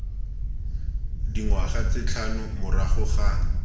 dingwaga tse tlhano morago ga